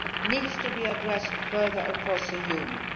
needs to be addressed further across the Union.